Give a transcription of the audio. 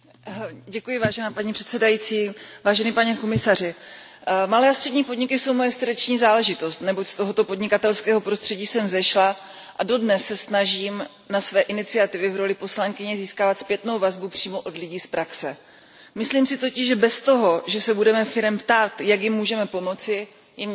Paní předsedající, pane komisaři, malé a střední podniky jsou moje srdeční záležitost, neboť z tohoto podnikatelského prostředí jsem vzešla, a dodnes se snažím pro své iniciativy v roli poslankyně získávat zpětnou vazbu přímo od lidí z praxe. Myslím si totiž, že bez toho, že se budeme firem ptát, jak jim můžeme pomoci, jim nikdy nepomůžeme.